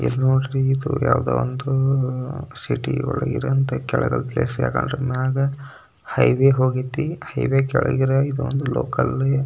ಇದ ನೋಡ್ರಿ ಇದ ಯಾವದೋ ಒಂದು ಸಿಟಿ ಒಳಗ ಇದೆಅಂತ ಕೆಲಗ ಮ್ಯಾಗ ಹೈವೇ ಹೋಗೈತೆ ಹೈವೇ ಕೆಳಗೆ ಇದ ಒಂದು ಲೋಕಲ್ .